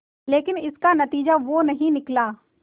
लेकिन इसका नतीजा वो नहीं निकला